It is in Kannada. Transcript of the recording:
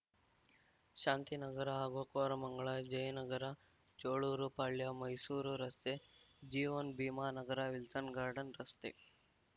ಶಾಂತಿನಗರ ಹಾಗೂ ಕೋರಮಂಗಲ ಜಯನಗರ ಚೋಳೂರು ಪಾಳ್ಯ ಮೈಸೂರು ರಸ್ತೆ ಜೀವನ್‌ ಭೀಮಾನಗರ ವಿಲ್ಸನ್‌ ಗಾರ್ಡನ್‌ ರಸ್ತೆ